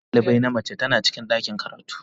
shugaban dalibai na mace tana cikin ɗakin karatu.